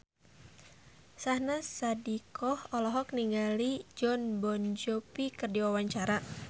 Syahnaz Sadiqah olohok ningali Jon Bon Jovi keur diwawancara